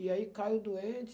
E aí caiu doente.